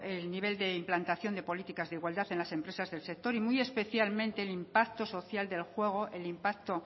el nivel de implantación de políticas de igualdad en las empresas del sector y muy especialmente el impacto social del juego el impacto